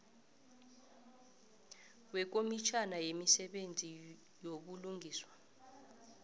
wekomitjhana yemisebenzi yobulungiswa